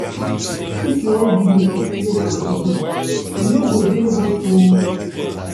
If you wan give me chocolate for evening, e no go dey hot o.